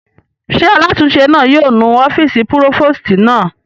Ṣé alátúnse náà yóò nu ọ́fìsì púrófòstì náà?